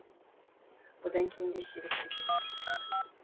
одан кейін де сирек кездесіп жүрді